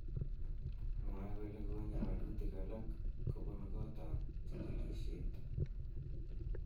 Mwae kole konye walutik alak kobun kotab chigilishet.